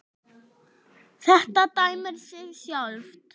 Þetta dæmir sig sjálft.